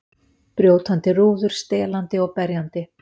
Brjótandi rúður, stelandi og berjandi.